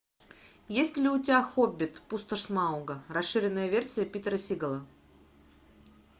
есть ли у тебя хоббит пустошь смауга расширенная версия питера сигала